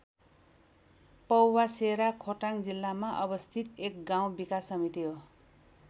पौवासेरा खोटाङ जिल्लामा अवस्थित एक गाउँ विकास समिति हो।